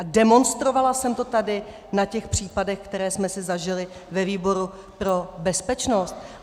A demonstrovala jsem to tady na těch případech, které jsme si zažili ve výboru pro bezpečnost.